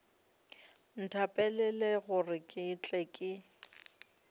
nthapelele gore ke tle ke